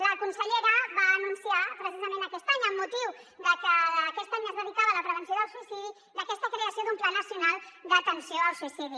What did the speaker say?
la consellera va anunciar precisament aquest any amb motiu que aquest any es dedicava a la prevenció del suïcidi aquesta creació d’un pla nacional d’atenció al suïcidi